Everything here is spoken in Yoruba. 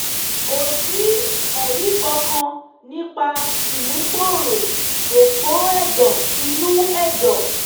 kò sí ẹ̀rí kankan nípa ìmúgbòòrò òpó ẹ̀dọ̀ inú ẹ̀dọ̀